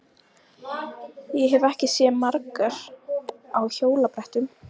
Ég hef ekki séð margar á hjólabrettum.